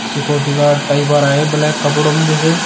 पीछे एक body guard type आ रहा है ब्लैक कपड़ों में जैसे--